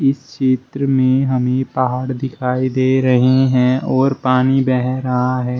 इस चित्र में हमें पहाड़ दिखाई दे रहे है और पानी बह रहा है।